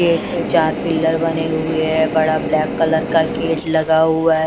Gate पे चार pillar बने हुए हैं बड़ा ब्लैक कलर का गेट लगा हुआ है।